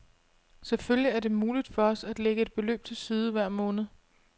Selvfølgelig er det muligt for os at lægge et beløb til side hver måned.